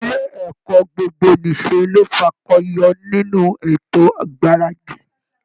Ilé ẹ̀kọ́ gbogbo-nìṣe ló fakọyọ nínú ètò ìgbaradì